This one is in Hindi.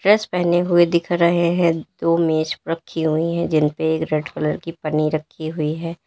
ड्रेस पहने हुए दिख रहे हैं दो मेज रखी हुई हैं जिन पे एक रेड कलर की पन्नी रखी हुई है।